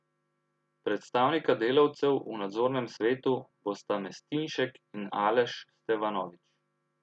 Predstavnika delavcev v nadzornem svetu bosta Mestinšek in Aleš Stevanovič.